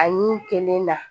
Ani kelen na